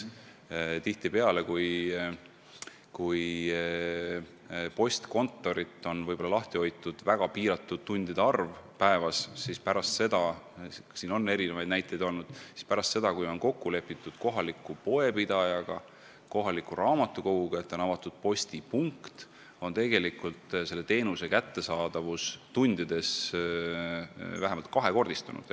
Tihtipeale on postkontorit lahti hoitud väga piiratud arv tunde päevas, aga pärast seda – selle kohta on erinevaid näiteid –, kui on kokku lepitud kohaliku poepidajaga või raamatukoguga, et seal on avatud postipunkt, on teenuse kättesaadavus tundides vähemalt kahekordistunud.